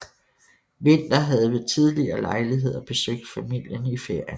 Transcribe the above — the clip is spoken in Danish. Winther havde ved tidligere lejligheder besøgt familien i ferierne